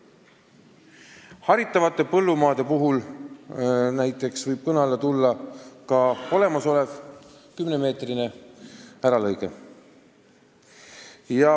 Haritavate põllumaade puhul võib olla võimalik piirduda ka olemasoleva 10 meetri laiuse äralõikega.